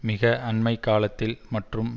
மிக அண்மை காலத்தில் மற்றும்